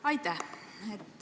Aitäh!